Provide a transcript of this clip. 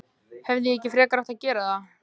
Hefði ég ekki frekar átt að gera það?